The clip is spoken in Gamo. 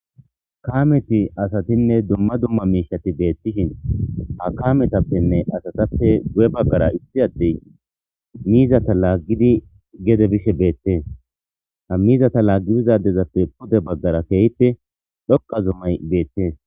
kaameti asatinne dumma dumma miishati beettishin ha kametappenne asatappe gu'e baggara issi addey miizata laaggidi gede bishe beettees ha miizata laaggibizadezappe pude baggara keehite dhoqa zummay beettes.